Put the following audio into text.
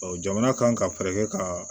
jamana kan ka fɛɛrɛ kɛ ka